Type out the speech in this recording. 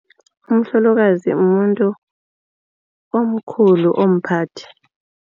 Umhlolokazi mumuntu omkhulu omphakathi.